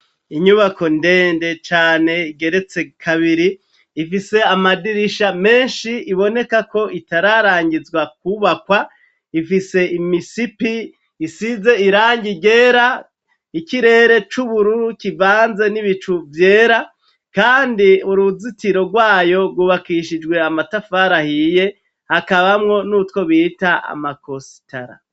Inyubako ndende cane igeretse kabiri, ifise amadirisha menshi iboneka ko itararangizwa kubakwa ifise imisipi isize irangi ryera, ikirere c'ubururu kivanze n'ibicu vyera, kandi uruzitiro rwayo rwubakishijwe amatafari ahiye hakabamwo n'utwo bita amakositara.